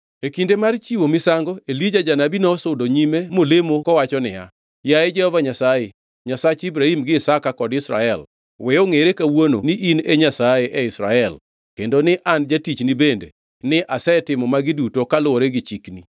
E kinde mar chiwo misango, Elija janabi nosudo nyime molemo kowacho niya, “Yaye Jehova Nyasaye, Nyasach Ibrahim gi Isaka kod Israel, we ongʼere kawuono ni in e Nyasaye e Israel kendo ni an jatichni bende ni asetimo magi duto kaluwore gi chikni.